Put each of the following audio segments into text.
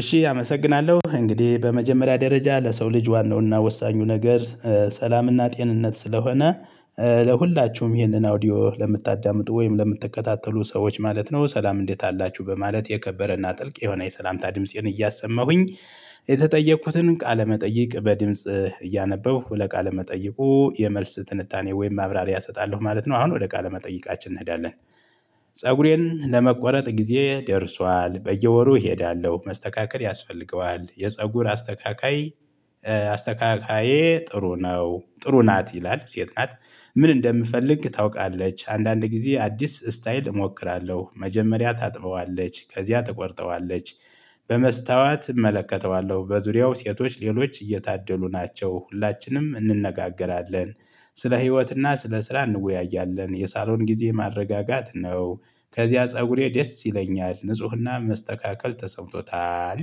እሺ አመሰግናለሁ እንግዲህ በመጀመሪያ ደረጃ ለሰው ልጅ ዋናውና ወሳኙ ነገር ሰላምና ጤንነት ስለሆነ ለሁላችሁም ይሄንን አውዲዮ ለምታዳምጡ ወይም ለምትከታተሉ ሰዎች ማለት ነው ሰላም እንዴት አላችሁ በማለት የከበረና ጥልቅ የሆነ የሰላምታ ድምፄን እያሰማሁኝ የተጠየኩትን ቃለመጠይቅ በድምጽ እያነበብኩ ለቃለመጠይቁ የመልስ ትንታኔ ወይም ማብራሪያ እሰጣለሁ ማለት ነው። አሁን ወደ ቃለ መጠይቃችን እንሄዳለን። ፀጉሬን ለመቆረጥ ጊዜ ደርሷል በየወሩ እሄዳለሁ መስተካከል ያስፈልገዋል የፀጉር አስተካካይ አስተካካዬ ጥሩ ነው ጥሩ ናት ይላል ሴት ናት። ምን እንደምፈልግ ታውቃለች አንዳንድ ጊዜ አዲስ ስታይል እሞክራለሁ መጀመሪያ ታጥበዋለች ከዚያ ትቆርጠዋለች። በመስታዋት እመለከተዋለሁ በዙሪያው ሴቶች ሌሎች እየታደሉ ናቸው ሁላችንም እንነጋገራለን። ስለ ህይወትና ስለ ስራ እንወያያለን የሳሎን ጊዜ ማረጋጋት ነው። ከዚያ ፀጉሬ ደስ ይለኛል ንፁህና መስተካከል ተሰምቶታል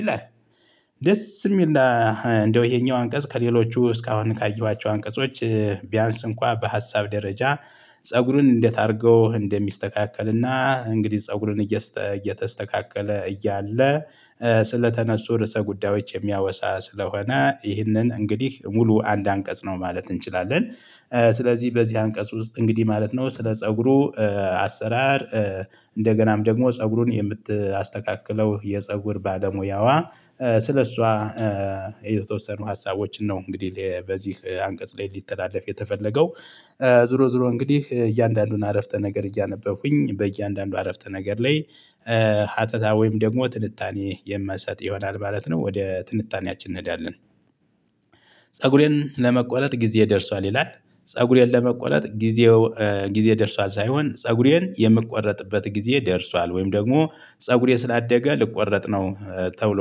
ይላል። ደስ የሚል እና እንደው ይሄኛው አንቀጽ ከሌሎቹ እስካሁን ካየኋቸው አንቀጾች። ቢያንስ እንኳን በሀሳብ ደረጃ። ፀጉሩን እንዴት አድርገው እንደሚስተካከልና እንግዲህ ፀጉሩን እየተስተካከለ እያለ። ስለተነሱ ርዕሰ ጉዳዮች የሚያወሳ ስለሆነ ይህንን እንግዲህ ሙሉ አንድ አንቀጽ ነው ማለት እንችላለን። ስለዚህ በዚህ አንቀጽ ውስጥ እንግዲህ ማለት ነው ስለ ፀጉሩ አሰራር። እንደገናም ደግሞ ፀጉሩን የምትያስተካክለው የፀጉር ባለሙያዋ። ስለእሷ። የተወሰኑ ሀሳቦችን ነው እንግዲህ በዚህ አንቀጽ ላይ እንዲተላለፍ የተፈለገው። ዙሮ ዙሮ እንግዲህ እያንዳንዱን አረፍተ ነገር እያነበብኩኝ በእያንዳንዱ አረፍተ ነገር ላይ። ሀተታ ወይም ደግሞ ትልጣኔ የምሰጥ ይሆናል ማለት ነው ወደ ትንጣኔያችን እንሄዳለን። ለመቆለጥ ጊዜ ደርሷል ይላል። ፀጉሬን ለመቆለጥ ጊዜው ጊዜ ደርሷል ሳይሆን ፀጉሬን የምቆረጥበት ጊዜ ደርሷል ወይም ደግሞ ፀጉሬ ስላደገ ልቆረጥ ነው። ተብሎ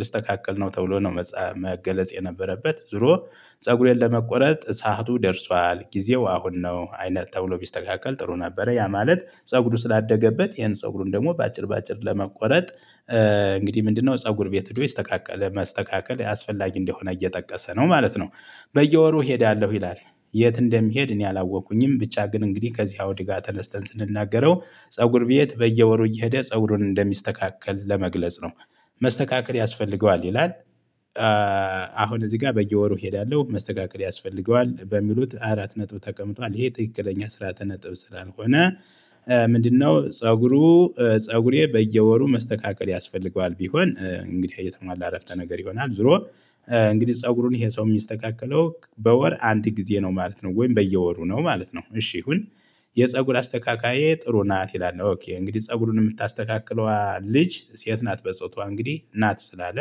ልስተካከል ነው ተብሎ ነው መገለጽ የነበረበት ዞሮ። ፀጉሬን ለመቆረጥ ሰዓቱ ደርሷል ጊዜው አሁን ነው። አይነት ተብሎ ቢስተካከል ጥሩ ነበረ ያ ማለት ፀጉሩ ስላደገበት ይሄን ፀጉሩን ደግሞ በአጭር በአጭር ለመቆረጥ። እንግዲህ ምንድነው? ፀጉር ቤት ይስተካከለ መስተካከል አስፈላጊ እንደሆነ እየጠቀሰ ነው ማለት ነው። በየወሩ እሄዳለሁ ይላል። የት? እንደሚሄድ እኔ አላወቁኝም ብቻ ግን እንግዲህ ከዚያው ድጋስ ተነስተን ስንናገረው ፀጉር ቤት በየወሩ እየሄደ ፀጉሩን እንደሚስተካከል ለመግለጽ ነው። መስተካከል ያስፈልገዋል ይላል። አሁን እዚህ ጋር በየወሩ እሄዳለሁ መስተካከል ያስፈልገዋል በሚሉት አራት ነጥብ ተቀምጧል ይሄ ትክክለኛ ስርዓተ ነጥብ ስላልሆነ። ምንድነው? ፀጉሩ ፀጉሬ በየወሩ መስተካከል ያስፈልገዋል ቢሆን እንግዲህ እየተሟላ አረፍተ ነገር ይሆናል ዞሮ። እንግዲህ ፀጉሩን ይሄ ሰው የሚስተካከለው በወር አንድ ጊዜ ነው ማለት ነው። ወይም በየወሩ ነው ማለት ነው። እሺ ይሁን። የፀጉር አስተካካዬ ጥሩ ናት ይላል እንግዲህ ፀጉሩን የምታስተካክለዋ ልጅ ሴት ናት በፆቷ እንግዲህ ናት ስላለ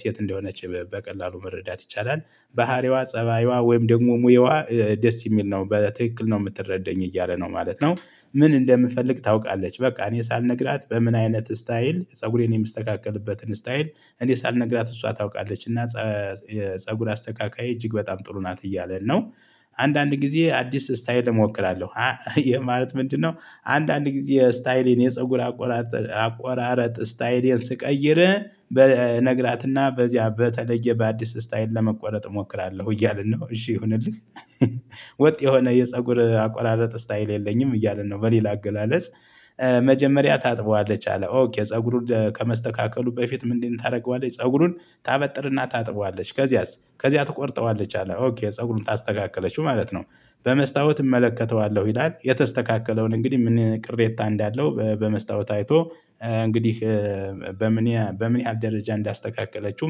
ሴት እንደሆነች በቀላሉ መረዳት ይቻላል። ባህሪዋ ፀባይዋ ወይም ደግሞ ሙያዋ ደስ የሚል ነው በትክክል ነው የምትረዳኝ እያለ ነው ማለት ነው። ምን እንደምፈልግ ታውቃለች? በቃ እኔ ሳልነግራት በምን አይነት ስታይል ፀጉሬን የሚስተካከልበትን ስታይል። እኔ ሳልነግራት እሷ ታውቃለች እና። ፀጉር አስተካካይ እጅግ በጣም ጥሩ ናት እያለ ነው። አንዳንድ ጊዜ አዲስ ስታይል እሞክራለሁ። ማለት ምንድነው? አንዳንድ ጊዜ ስታይሌን የፀጉር አቆራረጥ አቆራረጥ ስታይሌን ስቀይር እነግራትና በዚያ በተለየ በአዲስ ስታይል ለመቆረጥ እሞክራለሁ እያልን ነው። እሺ ይሁንልህ። ወጥ የሆነ የፀጉር አቆራረጥ ስታይል የለኝም እያልን ነው። በሌላ አገላለጽ። መጀመሪያ ታጥበዋለች አለ ኦኬ ፀጉሩን ከመስተካከሉ በፊት ምንድነው? ታደርገዋለች ታደርገዋለህ ፀጉሩን ታበጥርና ታጥበዋለች። ከዚያስ ከዚያ ትቆርጠዋለች። አለ ኦኬ ፀጉሩን ታስተካክለችው ማለት ነው። በመስታወት እመለከተዋለሁ ይላል። የተስተካከለውን እንግዲህ ምን ቅሬታ እንዳለው በመስታወት አይቶ። እንግዲህ። በምን በምን ያህል ደረጃ እንዳስተካከለችው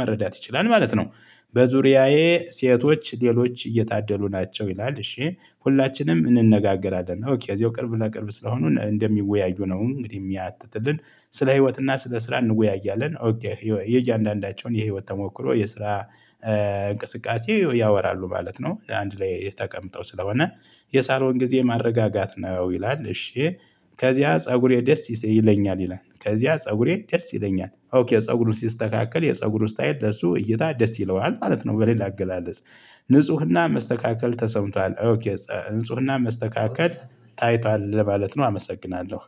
መረዳት ይችላል ማለት ነው። በዙሪያዬ ሴቶች ሌሎች እየታደሉ ናቸው ይላል እሺ ሁላችንም እንነጋገራለን የዚሁ ቅርብ ለቅርብ ስለሆኑ እንደሚወያዩ ነው እንግዲህ የሚያትትልን። ስለ ህይወት እና ስለ ስራ እንወያያለን። የእያንዳንዳቸውን የህይወት ተሞክሮ የስራ እንቅስቃሴ ያወራሉ ማለት ነው። አንድ ላይ የተቀመጠው ስለሆነ። የሳሎን ጊዜ ማረጋጋት ነው ይላል። እሺ። ከዚያ ፀጉሬ ደስ ይሰህ ይለኛል ይላል። ከዚያ ፀጉሬ ደስ ይለኛል ኦኬ ፀጉሩን ሲስተካከል የፀጉሩ ስታይል ለሱ እይታ ደስ ይለዋል ማለት ነው። በሌላ አገላለጽ። ንጽህና መስተካከል ተሰምቷል። ንጽህና መስተካከል ታይቷል ለማለት ነው። አመሰግናለሁ።